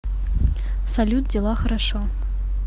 салют дела хорошо